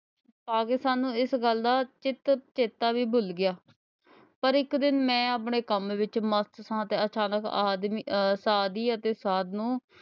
ਸਾਨੂੰ ਇਸ ਗੱਲ ਦਾ ਚਿੱਤ ਚੇਤਾ ਵੀ ਭੁੱਲ ਗਿਆ ਪਰ ਇੱਕ ਦਿਨ ਮੈਂ ਆਪਣੇ ਕੰਮ ਵਿੱਚ ਮਸਤ ਸਾਂ ਤੇ ਅਹ ਆਦਮੀ ਅਹ ਸਾਧੀ ਅਤੇ ਸਾਧ ਨੂੰ,